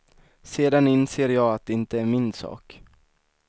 Sedan inser jag att det inte är min sak.